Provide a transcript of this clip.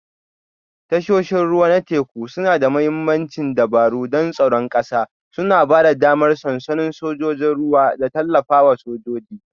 Tashoshin ruwa na teku suna da mahimmancin dabaru don tsaron ƙasa, suna ba da damar sansanonin sojojin ruwa da tallafawa sojoji